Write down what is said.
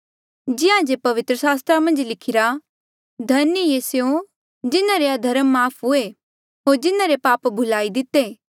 जिहां जे पवित्र सास्त्रा मन्झ लिखिरा धन्य ऐें स्यों जिन्हारे अधर्मा माफ़ हुए होर जिन्हारे पाप भुलाई दिते